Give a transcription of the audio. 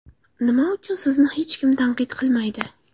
Nima uchun sizni hech kim tanqid qilmaydi?